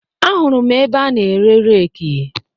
Ahụrụ m ebe a na-ere reeki